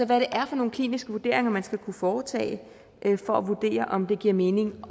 det er for nogle kliniske vurderinger man skal kunne foretage for at vurdere om det giver mening at